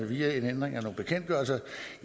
via en ændring af nogle bekendtgørelser